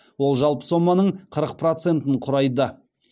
ол жалпы соманың қырық процентін құрайды